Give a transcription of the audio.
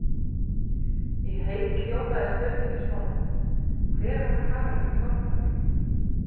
Í heild hljómaði spurningin svona: Hver var Haraldur hárfagri?